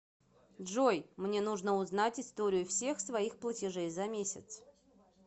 джой мне нужно узнать историю всех своих платежей за месяц